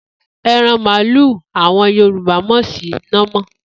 E̩ran màlúù ni àwo̩n Yorùbá mò̩ sí námò̩